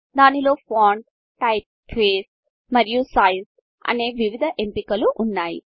దానిలో font typeface మరియు size అనే వివిధ ఎంపికలు ఉన్నాయి